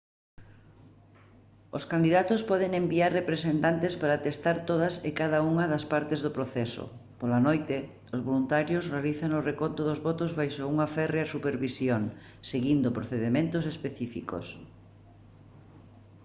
os candidatos poden enviar representantes para atestar todas e cada unha das partes do proceso pola noite os voluntarios realizan o reconto dos votos baixo unha férrea supervisión seguindo procedementos específicos